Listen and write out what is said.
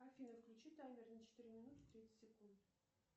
афина включи таймер на четыре минуты тридцать секунд